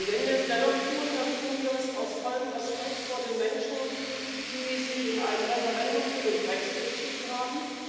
Und wenn wir es dennoch tun, dann tun wir es aus vollem Respekt vor den Menschen, die sich in einem Referendum für den Brexit entschieden haben.